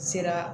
Sera